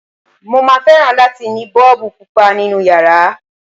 Mo máa fẹ́ràn láti ní Bọ́ọ̀bù Pupa nínu yàrá.